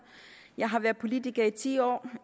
jeg har været politiker i ti år